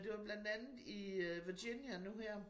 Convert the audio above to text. Det var blandt andet i Virginia nu her